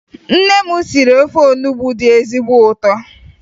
Nne m siri ofe onubo dị ezigbo ụtọ